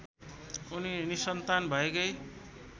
उनी निसन्तान भएकै